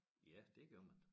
Ja det gør man